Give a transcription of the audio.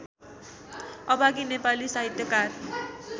अभागी नेपाली साहित्यकार